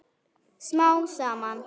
Smám saman.